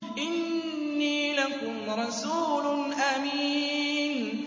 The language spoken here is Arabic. إِنِّي لَكُمْ رَسُولٌ أَمِينٌ